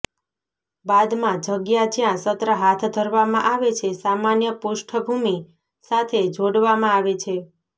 બાદમાં જગ્યા જ્યાં સત્ર હાથ ધરવામાં આવે છે સામાન્ય પૃષ્ઠભૂમિ સાથે જોડવામાં આવે છે